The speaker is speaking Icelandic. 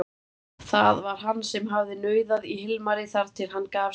Það var hann sem hafði nauðað í Hilmari þar til hann gaf sig.